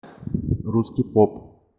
русский поп